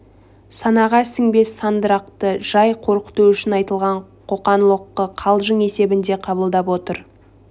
санаға сіңбес сандырақты жай қорқыту үшін айтылған қоқан-лоққы қалжың есебінде қабылдап отыр